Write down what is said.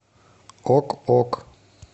ок ок